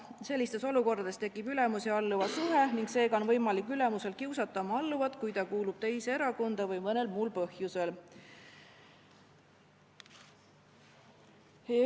Sellistes olukordades tekib ülemuse ja alluva suhe ning seega on ülemusel võimalik oma alluvat kiusata, sest see kuulub teise erakonda või ka mõnel muul põhjusel.